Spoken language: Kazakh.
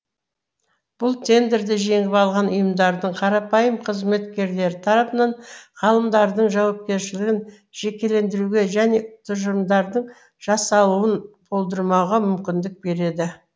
бұл тендерді жеңіп алған ұйымдардың қарапайым қызметкерлері тарапынан ғалымдардың жауапкершілігін жекелендіруге және тұжырымдардың жасалуын болдырмауға мүмкіндік береді